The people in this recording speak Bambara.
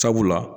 Sabula